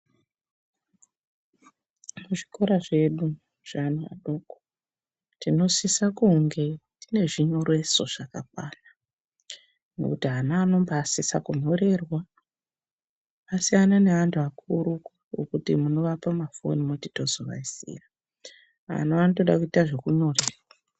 Muzvikora zvedu zveana adoko, tinosisa kunge tine zvinyoreso zvakakwana, ngokuti ana anobasise kunyorerwa. Zvasiyana neantu akuru okuti munoapa mafoni moti tozovaisira, awo anotodekuita zvekunyorerwa.